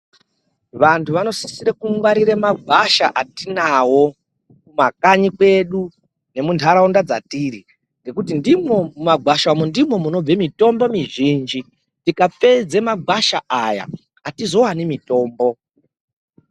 Vantu vanosise kungwarire magwasha atinawo kumakanyi kwenyu nemunharaunda dzatiri ngekuti ndimwo mumagwasha umu ndimwo munobva mitombo mizhinji tikapedza magwasha aya atizowani mitombo .